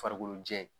Farikolo jɛ